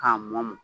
K'a mɔ mɔ